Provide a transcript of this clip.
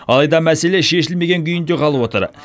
алайда мәселе шешілмеген күйінде қалып отыр